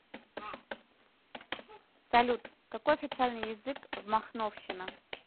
салют какой официальный язык в махновщина